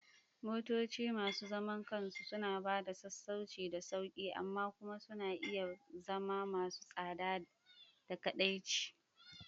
Motoci masu zaman kansu suna ba da sassauci da sauƙi, amma kuma suna iya zama masu tsada da kaɗaici.